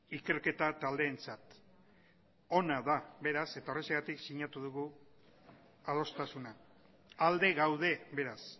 ikerketa taldeentzat ona da beraz eta horrexegatik sinatu dugu adostasuna alde gaude beraz